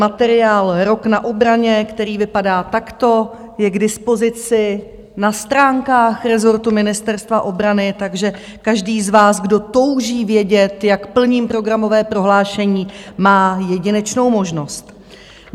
Materiál Rok na obraně, který vypadá takto , je k dispozici na stránkách rezortu Ministerstva obrany, takže každý z vás, kdo touží vědět, jak plním programové prohlášení, má jedinečnou možnost.